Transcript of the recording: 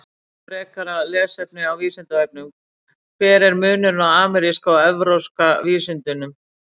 Frekara lesefni á Vísindavefnum: Hver er munurinn á ameríska og evrópska vísundinum?